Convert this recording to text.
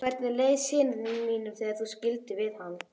Hvernig leið syni mínum þegar þú skildir við hann?